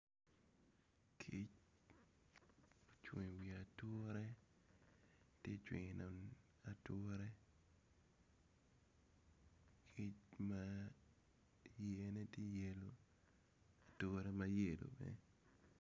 Kic ocung iwi ature ti cwino ature kic ma yerne tye yelo ature ma yelo bene.